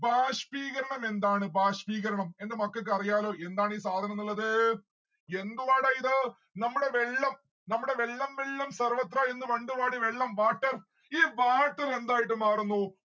ബാഷ്‌പീകരണം എന്താണ് ബാഷ്‌പീകരണം. എന്റെ മക്കക്ക് അറിയാലോ എന്താണീ സാധനം ന്നു ഇള്ളത്. എന്തുവാടാ ഇത്? നമ്മളെ വെള്ളം നമ്മുടെ വെള്ളം വെള്ളം സർവത്ര എന്ന് പണ്ട് പാടിയ വെള്ളം water ഈ water എന്തായിട്ട് മാറുന്നു?